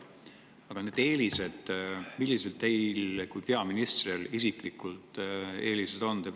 Aga millised teie kui peaministri isiklikud eelised on?